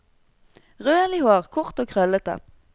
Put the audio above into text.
Rødlig hår, kort og krøllete.